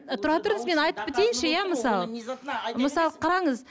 тұра тұрыңыз мен айтып кетейінші иә мысалы мысалы қараңыз